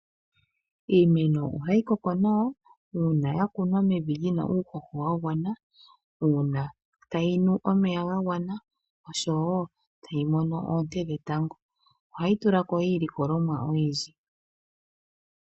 Iimeno ohayi koko nawa, uuna ya kunwa mevi lyina uuhoho wa gwana, uuna tayi nu omeya ga gwana oshowo tayi mono oonte dhetango. Ohayi tula ko iilikolomwa oyindji.